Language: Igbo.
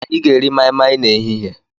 Anyị ga-eri mai mai n'ehihie.